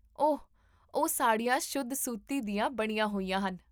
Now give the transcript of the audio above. ਓਹ, ਉਹ ਸਾੜੀਆਂ ਸ਼ੁੱਧ ਸੂਤੀ ਦੀਆਂ ਬਣੀਆਂ ਹੋਈਆਂ ਹਨ